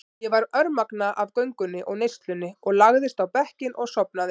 Ég var örmagna af göngunni og neyslunni og lagðist á bekkinn og sofnaði.